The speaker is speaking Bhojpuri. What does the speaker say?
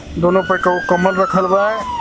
दोनो पर एकक गो कंबल राखल बा.